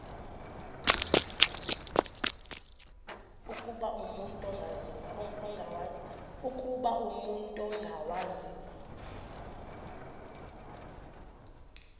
ukuba umut ongawazivo